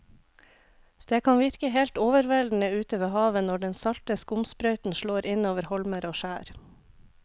Det kan virke helt overveldende ute ved havet når den salte skumsprøyten slår innover holmer og skjær.